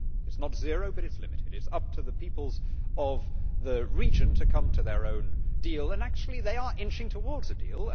It is not zero, but it is limited. It is up to the peoples of the region to come to their own deal, and actually they are inching towards a deal.